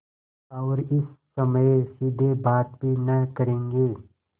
और इस समय सीधे बात भी न करेंगे